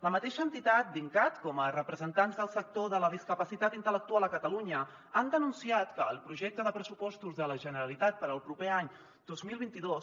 la mateixa entitat dincat com a representants del sector de la discapacitat intel·lectual a catalunya han denunciat que el projecte de pressupostos de la generalitat per al proper any dos mil vint dos